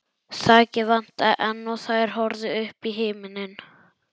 Þakið vantaði enn og þær horfðu upp í himininn.